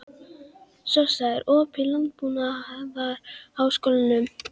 Sossa, er opið í Landbúnaðarháskólanum?